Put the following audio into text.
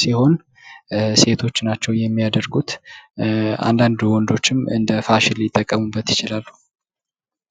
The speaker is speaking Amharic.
ሲሆን ሴቶች ናቸው የሚያደርጉት አንዳንድ ወንዶችም እንደ ፋሽን ሊጠቀምበት ይችላሉ።